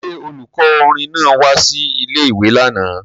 Ṣé olùkọ́ orin náà wá sí ilé-ìwé lánàá